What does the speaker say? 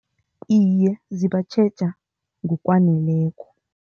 Iye, zibatjheja ngokwaneleko.